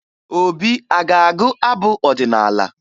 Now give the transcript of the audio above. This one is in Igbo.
Obi a ga-agụ abụ ọdịnaala?